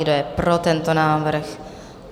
Kdo je pro tento návrh?